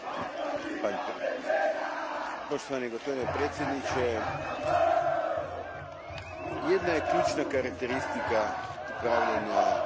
Gospodine predsjedniče, jedna je ključna karakteristika upravljanja ribarskim flotama u najudaljenijim regijama.